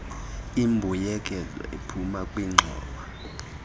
imbuyekezo ephuma kwingxowa